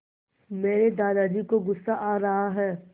मेरे दादाजी को गुस्सा आ रहा है